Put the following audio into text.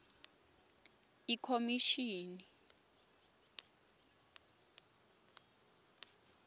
ikhomishini